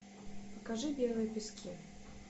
покажи белые пески